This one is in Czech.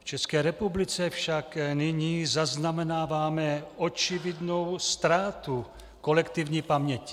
V České republice však nyní zaznamenáváme očividnou ztrátu kolektivní paměti.